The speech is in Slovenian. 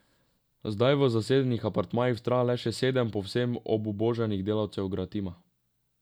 Zdaj v zasedenih apartmajih vztraja le še sedem povsem obubožanih delavcev Gratima.